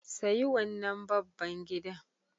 Sayi wannan babban gidan.